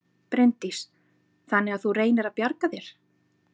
Bryndís: Þannig að þú reynir að bjarga þér?